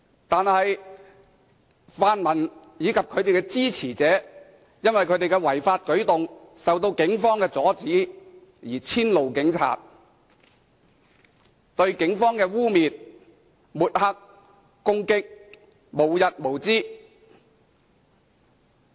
但是，泛民及其支持者因其違法舉動受到警方阻止而遷怒警察，對警方的污衊、抹黑及攻擊無日無之。